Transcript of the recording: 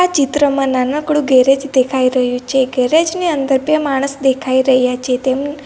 ચિત્રમાં નાનકડું ગેરેજ દેખાય રહ્યું છે ગેરેજ ની અંદર બે માણસ દેખાય રહ્યા છે તેમ --